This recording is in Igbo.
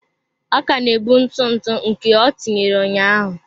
Ọ ka na-ebu ntụ ntụ nke ọ tinyere ụnyaahụ.